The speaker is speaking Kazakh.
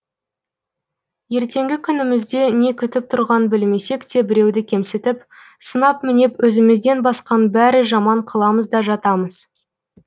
ертеңгі күнімізде не күтіп тұрғанын білмесек те біреуді кемсітіп сынап мінеп өзімізден басқаның бәрі жаман қыламыз да жатамыз